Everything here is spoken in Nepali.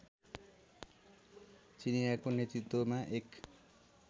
चिनियाँको नेतृत्वमा एक